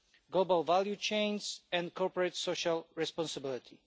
global value chains and corporate social responsibility.